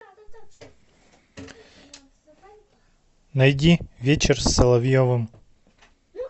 найди вечер с соловьевым